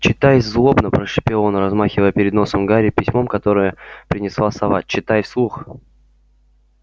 читай злобно прошипел он размахивая перед носом гарри письмом которое принесла сова читай вслух